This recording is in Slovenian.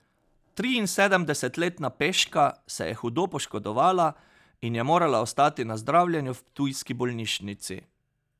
Triinsedemdesetletna peška se je hudo poškodovala in je morala ostati na zdravljenju v ptujski bolnišnici.